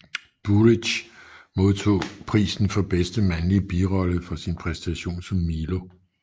Burić modtog prisen for bedste mandlige birolle for sin præsentation som Milo